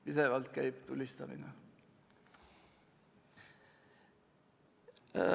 Pidevalt käib tulistamine.